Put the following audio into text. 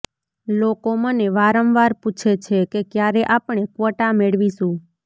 લોકો મને વારંવાર પૂછે છે કે ક્યારે આપણે ક્વોટા મેળવીશું